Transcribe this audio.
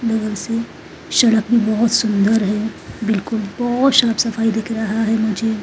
लोगों से शड़क भी बहोत सुंदर है बिल्कुल बहोत शाफ सफाई दिख रहा है मुझे।